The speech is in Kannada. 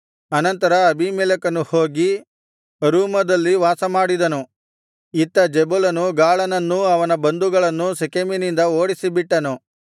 ಅನಂತರ ಅಬೀಮೆಲೆಕನು ಹೋಗಿ ಅರೂಮದಲ್ಲಿ ವಾಸಮಾಡಿದನು ಇತ್ತ ಜೆಬುಲನು ಗಾಳನನ್ನೂ ಅವನ ಬಂಧುಗಳನ್ನೂ ಶೆಕೆಮಿನಿಂದ ಓಡಿಸಿಬಿಟ್ಟನು